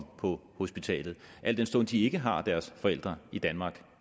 på hospitalet og al den stund de ikke har deres forældre i danmark